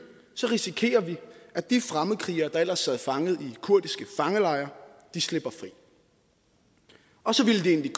risikerer vi at de fremmedkrigere der ellers sad fanget i kurdiske fangelejre slipper fri og så ville